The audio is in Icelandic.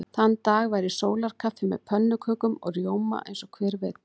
Þann dag væri sólarkaffi með pönnukökum og rjóma eins og hver vildi.